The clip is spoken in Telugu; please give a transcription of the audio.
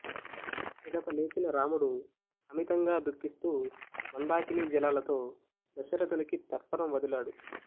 పిదప లేచిన రాముడు అమితంగా దుఃఖిస్తూ మందాకినీ జలాలతో దశరథునికి తర్పణం వదిలాడు